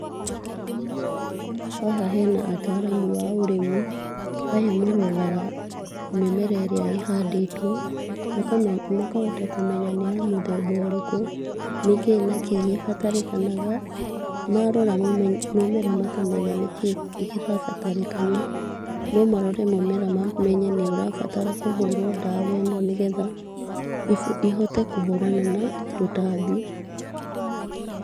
Haha hena ataramu a ũrĩmi, aya maroraga mĩmera ĩrĩa ĩhandĩtwo. Makahota kũmenya nĩ ya mũthemba ũrĩkũ, nĩkĩ na kĩ gĩbatarĩkanaga. Marora mũmera makamenya nĩkĩ kĩrabatarĩkana, no marore mũmera mamenye nĩ ũrabatara kũhũrwo ndawa ĩno, nĩgetha ĩhote kũhũrana na tũtambi.